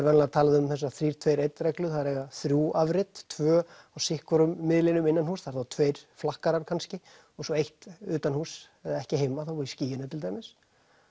venjulega talað um þessa þrjá tveggja eina reglu það er að eiga þrjú afrit tvö á sitt hvorum miðlinum innan húss það er þá tveir flakkarar kannski og svo eitt utan húss eða ekki heima þá í skýinu til dæmis